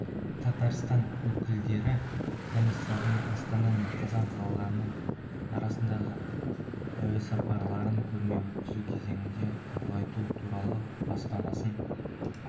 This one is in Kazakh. татарстан өкілдері комиссарының астана мен қазан қалаларының арасындағы әуесапарларын көрме өткізу кезеңінде ұлғайту туралы бастамасын